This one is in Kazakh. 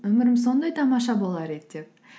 өмірім сондай тамаша болар еді деп